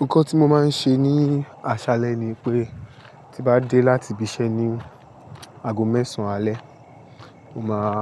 Nǹkan tí mo máa ń ṣe ní aṣalẹ ni pé tí bá dé láti ibi iṣẹ́ ní ago mẹ́sàn alẹ́, mo máa